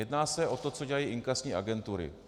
Jedná se o to, co dělají inkasní agentury.